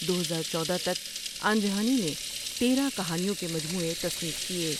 دو ہزار چودہ تک آنجہانی نے تیرہ کہانیوں کے مجموعے تصنیف کئے ۔